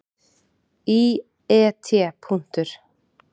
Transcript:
Í et.